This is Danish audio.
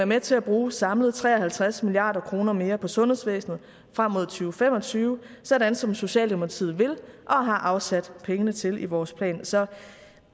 med til at bruge samlet tre og halvtreds milliard kroner mere på sundhedsvæsenet frem mod to fem og tyve sådan som socialdemokratiet vil og har afsat penge til i vores plan så